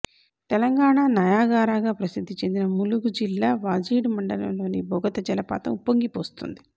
తెలంగాణ నయాగారాగా ప్రసిద్ధి చెందిన ములుగు జిల్లా వాజేడు మండలంలోని బోగత జలపాతం ఉప్పొంగి పోస్తోంది